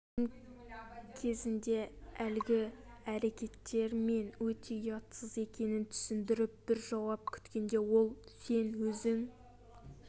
джексон кезінде әлгі әрекеттер мен өте ұятсыз екенін түсіндіріп бір жауап күткенде ол сен өзің